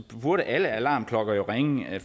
burde alle alarmklokker jo ringe